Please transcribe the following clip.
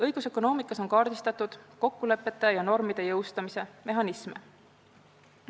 Õigusökonoomikas on kaardistatud kokkulepete ja normide jõustamise mehhanisme.